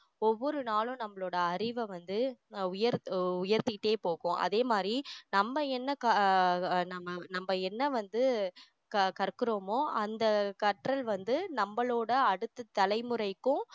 ஒவ்வொரு நாளும் நம்மளோட அறிவ வந்து உயர் அஹ் உயர்த்திட்டே போகும் அதே மாதிரி நம்ம என்ன க~ அஹ் நம்ம நம்ம என்ன வந்து க~ கற்கிறோமோ அந்த கற்றல் வந்து நம்மளோட அடுத்த தலைமுறைக்கும்